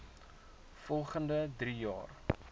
volgende drie jaar